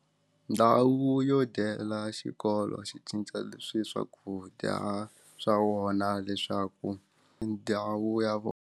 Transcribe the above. Ndhawu yo dyela xikolo xi cinca leswi swakudya swa wona leswaku ndhawu ya vona.